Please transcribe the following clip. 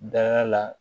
Da la